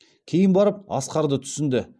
кейін барып асқарды түсінді